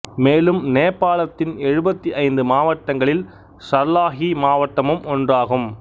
மேலும் நேபாளத்தின் எழுபத்தி ஐந்து மாவட்டங்களில் சர்லாஹி மாவட்டமும் ஒன்றாகும்